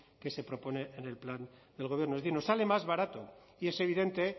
que se propone en el plan del gobierno es decir nos sale más barato y es evidente